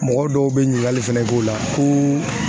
Mɔgɔ dɔw bɛ ɲininkali fana k'o la ko.